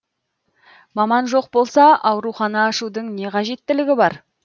маман жоқ болса аурухана ашудың не қажеттілігі бар